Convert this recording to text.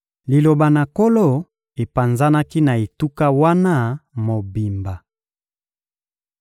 Liloba na Nkolo epanzanaki na etuka wana mobimba.